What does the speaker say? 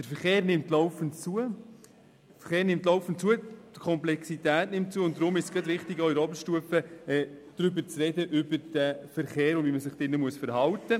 Der Verkehr nimmt laufend zu, seine Komplexität nimmt zu, und deshalb ist es gerade auch in der Oberstufe wichtig, über den Verkehr und darüber, wie man sich im Verkehr verhalten muss, zu sprechen.